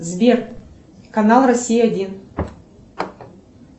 сбер канал россия один